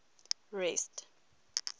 rest